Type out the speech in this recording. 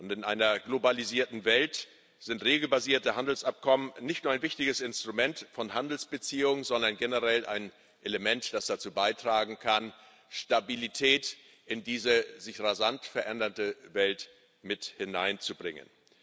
In einer globalisierten Welt sind regelbasierte Handelsabkommen nicht nur ein wichtiges Instrument von Handelsbeziehungen, sondern generell ein Element, das dazu beitragen kann, Stabilität in diese sich rasant verändernde Welt mit hineinzubringen.